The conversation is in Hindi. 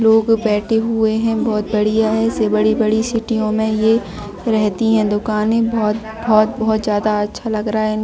लोग बैठे हुए है बहुत बढियाँ है इससे बड़ी बड़ी सीटियों में ये रहती है दुकाने बहोत बहोत बहोत ज्यादा अच्छा लग रहा है इनको--